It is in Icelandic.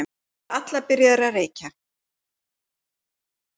Þær voru allar byrjaðar að reykja.